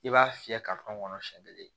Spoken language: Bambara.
I b'a fiyɛ ka kan kɔnɔ siɲɛ kelen